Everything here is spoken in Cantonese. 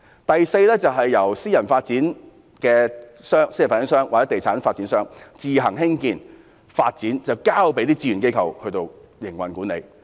第四，由私人發展商或地產發展商自行興建發展，但交由志願機構營運管理。